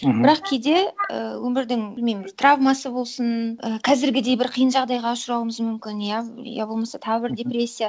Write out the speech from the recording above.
бірақ кейде і өмірдің білмеймін травмасы болсын і қазіргідей бір қиын жағдайға ұшырауымыз мүмкін иә я болмаса тағы бір депрессия